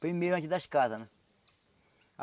Primeiro antes das casas, né?